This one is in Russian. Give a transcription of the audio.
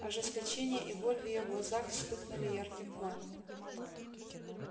ожесточение и боль в её глазах вспыхнули ярким пламенем